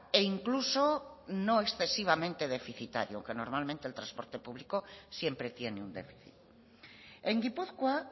e incluso no excesivamente deficitario que normalmente el transporte público siempre tiene un déficit en gipuzkoa